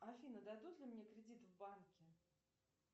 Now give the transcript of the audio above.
афина дадут ли мне кредит в банке